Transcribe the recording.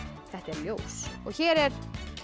þetta er ljós og hér er